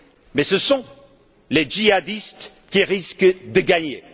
suis sûr. Mais ce sont les djihadistes qui risquent